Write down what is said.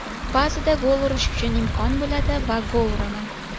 Ba’zida gol urish uchun imkon bo‘ladi va gol uraman.